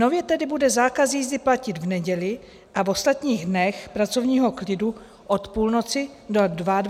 Nově tedy bude zákaz jízdy platit v neděli a v ostatních dnech pracovního klidu od půlnoci do 22 hodin.